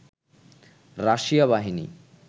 Russia বাহিনী